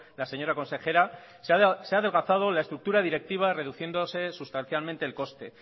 la señora consejera se ha adelgazado la estructura directiva reduciéndose sustancialmente el coste